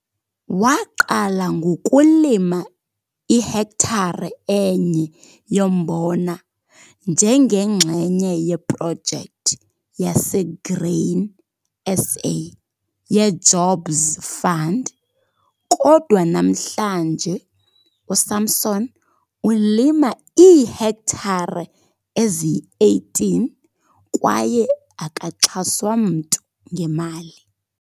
Waqala ngokulima ihektare enye yombona njengenxenye yeProjekthi yaseGrain SA yeJobs Fund kodwa namhlanje uSamson ulima iihektare eziyi-18, kwaye akaxhaswa mntu ngemali.